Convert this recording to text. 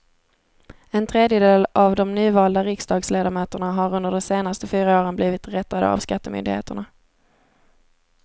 En tredjedel av de nyvalda riksdagsledamöterna har under de senaste fyra åren blivit rättade av skattemyndigheterna.